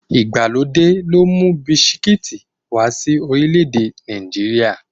Ìgbàlódé ló mú bisikíìtì wá sí orílẹ̀-èdè Nàìjíríà.